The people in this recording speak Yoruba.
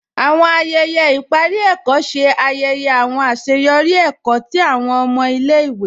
Àwọn ayẹyẹ iparí èkó ṣè ayẹyẹ àwọn aṣeyọri èkó tí àwọn ọmọ ilẹ̀-ìwé.